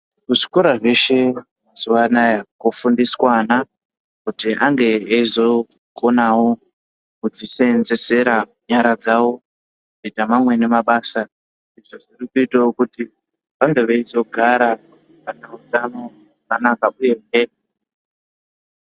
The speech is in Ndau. Kuzvikora zveshe mazuwanaya kofundiswa ana kuti ange eizikonawo kudziseenzesera nyara dzawo kuita mamweni mabasa zvinoitawo kuti vange veizogara vane utano hwakanaka uyehe.